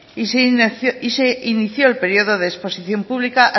y se inició el periodo de exposición pública